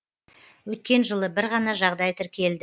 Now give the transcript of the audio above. өткен жылы бір ғана жағдай тіркелді